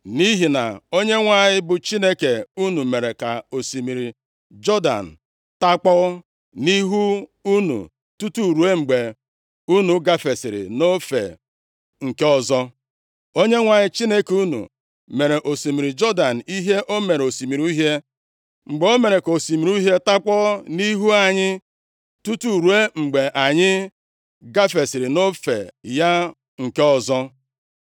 Nʼihi na Onyenwe anyị bụ Chineke unu mere ka osimiri Jọdan takpọọ nʼihu unu tutu ruo mgbe unu gafesịrị nʼofe nke ọzọ. Onyenwe anyị Chineke unu mere osimiri Jọdan ihe o mere osimiri Uhie + 4:23 \+xt Ọpụ 14:21\+xt* mgbe o mere ka osimiri Uhie takpọọ nʼihu anyị, tutu ruo mgbe anyị gafesịrị nʼofe ya nke ọzọ.